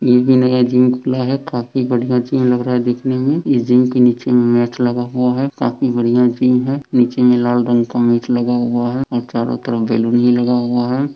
ये जिम है जिम खुला है काफी बढ़िया जिम लग रहा है देखने में ये जिम के नीचे मे मैट लगा हुआ है काफी बढ़िया जिम है नीचे मे लाल रंग का मैट लगा हुआ है और चारों तरफ बैलून भी लगा हुआ है।